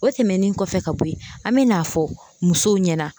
O tɛmɛnen kɔfɛ ka bɔ ye an bɛ n'a fɔ musow ɲɛna